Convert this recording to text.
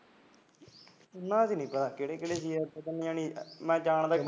ਉਨ੍ਹਾਂ ਚ ਪਤਾ ਨਹੀਂ ਕਿਹੜੇ ਕਿਹੜੇ ਸੀ ਮੈਂ ਜਾਣਦਾ ਨੀ